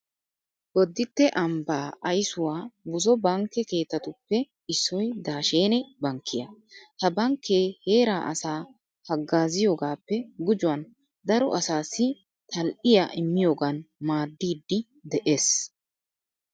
Bodditte ambbaa aysuwa buzo bankke keettatuppe issoy daashene bankkiya. Ha bankkee heeraa asaa haggaaziyogaappe gujuwan daro asaassi tal"iya immiyogan maaddiiddi de'ees.